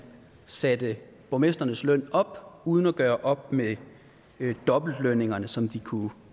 satte borgmestrenes løn op uden at gøre op med dobbeltlønningerne som de kunne